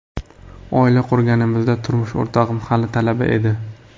Oila qurganimizda, turmush o‘rtog‘im hali talaba edi.